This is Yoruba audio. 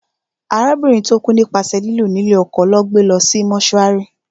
Arábìnrin tó kú nípasẹ̀ lílù ní lé ọkọ lọ́ gbé lọ sí mọ́túárì